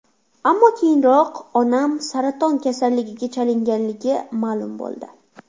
Ammo keyinroq onam saraton kasalligiga chalinganligi ma’lum bo‘ldi.